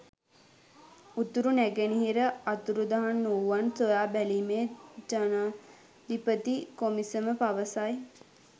උතුරු නැගෙනහිර අතුරුදහන්වූවන් සොයා බැලීමේ ජනාධිපති කොමිසම පවසයි